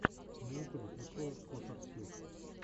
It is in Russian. на ютубе прикол косарсьют